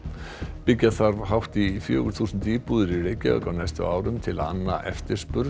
byggja þarf hátt í fjögur þúsund íbúðir í Reykjavík á næstu árum til að anna eftirspurn